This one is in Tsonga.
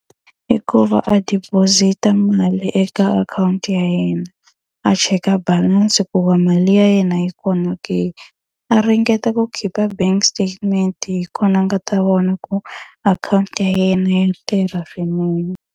I ku va a deposit-a mali eka akhawunti ya yena, a cheka balance ku va mali ya yena yi kona ke. A ringeta ku khipha bank statement hi kona a nga ta vona ku akhawunti ya yena ya tirha swinene.